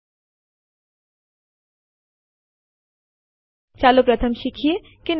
તે માટે આપણી પાસે સીપી આદેશ છે